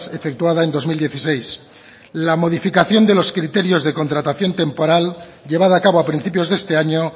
efectuada en dos mil dieciséis la modificación de los criterios de contratación temporal llevada a cabo a principios de este año